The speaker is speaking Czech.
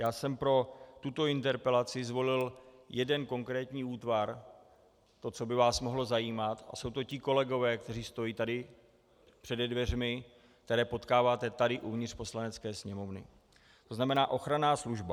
Já jsem pro tuto interpelaci zvolil jeden konkrétní útvar, to, co by vás mohlo zajímat, a jsou to ti kolegové, kteří stojí tady přede dveřmi, které potkáváte tady uvnitř Poslanecké sněmovny, to znamená ochranná služba.